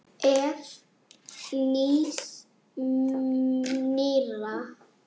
Ef. nýs- nýrra